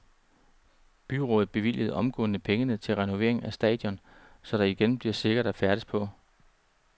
Byrådet bevilgede omgående pengene til renovering af stadion, så det igen bliver sikkert at færdes på.